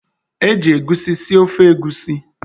Eji egusi sie ofe egusi.